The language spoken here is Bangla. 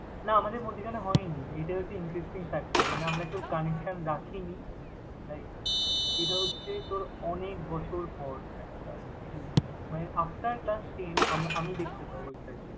না আমাদের মধ্যিখানে হয়নি এটাই হচ্ছে interesting factor মানে আমরা কেউ connection রাখিনি। Like এটা হচ্ছে তোর অনেক বছর পর একটা reunion মানে after class ten আমি দেখতে পাবো exactly ।